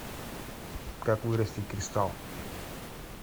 как вырастить кристалл